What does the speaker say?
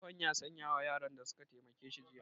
Tsohon ya sanya wa yaran da su ka taimake shi jiya